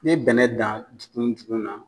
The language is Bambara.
N'e ye bɛnɛn dan njugun njugun na.